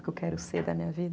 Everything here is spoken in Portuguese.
O que eu quero ser da minha vida.